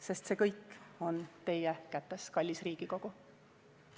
Sest see kõik on teie kätes, kallis Riigikogu.